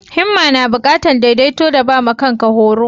Himma na bukatan daidaito da ba ma kan ka horo.